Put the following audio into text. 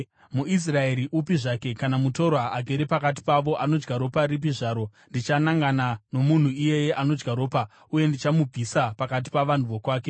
“ ‘MuIsraeri upi zvake kana mutorwa agere pakati pavo anodya ropa ripi zvaro ndichanangana nomunhu iyeye anodya ropa uye ndichamubvisa pakati pavanhu vokwake.